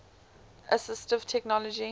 assistive technology